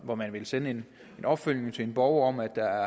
hvor man vil sende en opfølgning til en borger om at der